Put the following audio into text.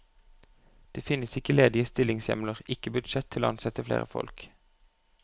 Det finnes ikke ledige stillingshjemler, ikke budsjett til å ansette flere folk.